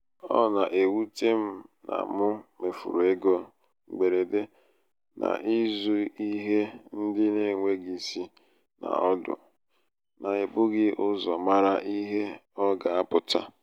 ọ na-ewute m na mụ mefuru égo mgberede n'ịzụ ihe ndị n'enweghị isi na ọdụ n'ebughị ụzọ mara ihe ọ ga- apụta.